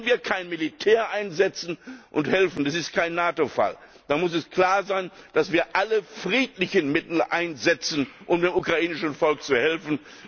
Und wenn wir kein Militär einsetzen und helfen das ist kein NATO Fall dann muss es klar sein, dass wir alle friedlichen Mittel einsetzen, um dem ukrainischen Volk zu helfen.